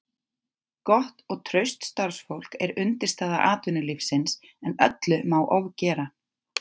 Gott og traust starfsfólk er undirstaða atvinnulífsins en öllu má ofgera.